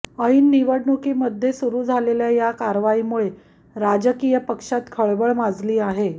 ऐन निवडणुकीमध्ये सुरू झालेल्या या कारवाई मुळे राजकीय पक्षात खळबळ माजली आहे